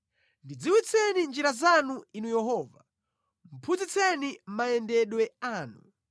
Ndidziwitseni njira zanu Inu Yehova, phunzitseni mayendedwe anu;